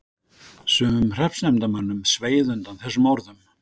Sumum hreppsnefndarmönnum sveið undan þessum orðum.